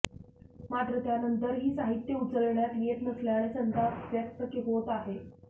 मात्र त्यानंतरही साहित्य उचलण्यात येत नसल्याने संताप व्यक्त होत आहे